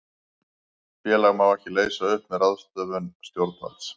Félag má ekki leysa upp með ráðstöfun stjórnvalds.